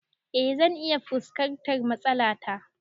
Eh zan iya fuskantar matsala ta